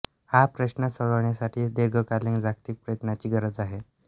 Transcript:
हा प्रश्न सोडवण्यासाठी दीर्घकालीन जागतिक प्रयत्नांची गरज आहे